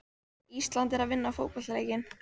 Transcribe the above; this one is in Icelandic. Ísland er að vinna fótboltaleikinn.